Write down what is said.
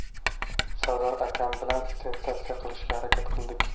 Sardor akam bilan sensatsiya qilishga harakat qildik.